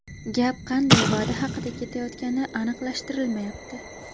Gap qanday va’da haqida ketayotgani aniqlashtirilmayapti.